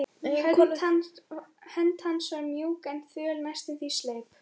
Hönd hans var mjúk en þvöl, næstum því sleip.